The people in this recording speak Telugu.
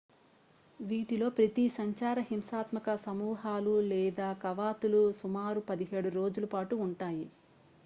వీటిలో ప్రతి సంచార హింసాత్మక సమూహాలు లేదా కవాతులు సుమారు 17 రోజులు పాటు ఉంటాయి